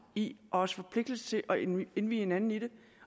i og også forpligtelse til at indvi indvi hinanden i det